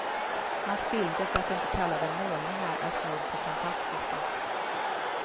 Hans bilder, för att inte kalla dem målningar, är snudd på fantastiska.